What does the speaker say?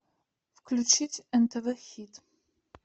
включить нтв хит